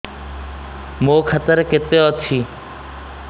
ମୋ ଖାତା ରେ କେତେ ଅଛି